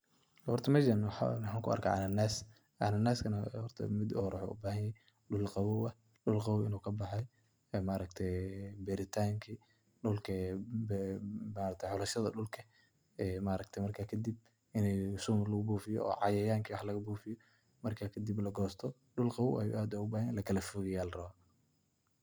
Horta meeeshaan waxa kuarka cananas, cananaska horta mida uhore wuxu ubahanyahay dhul qawoow ah inu kabaxay maaragte beritanki maaragta xolashada dhulka marka kadib inii sun lugubufiyo oo cayayanka lagabufiyo marka kadib lagosto dhul qawoow ayu aad ogabahanyahay oo lakala fogeyo ayu rawa.